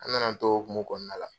An nana an t'o o hokumu kɔnɔna la.